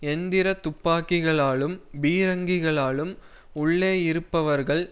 எந்திர துப்பாக்கிகளாலும் பீரங்கிகளாலும் உள்ளேயிருப்பவர்கள்